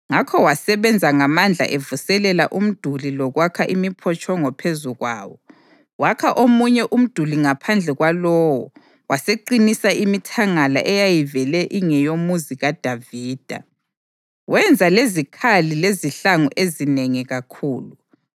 Ngakho wasebenza ngamandla evuselela umduli lokwakha imiphotshongo phezu kwawo. Wakha omunye umduli ngaphandle kwalowo waseqinisa imithangala eyayivele ingeyoMuzi kaDavida. Wenza lezikhali lezihlangu ezinengi kakhulu.